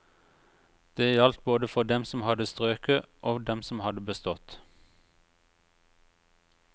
Det gjaldt både for dem som hadde strøket, og dem som hadde bestått.